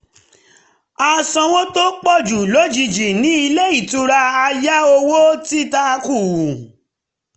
a sanwó tó pọ̀ lójiji ní ilé-ìtura a yá owó tita kù